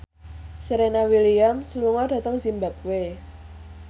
Serena Williams lunga dhateng zimbabwe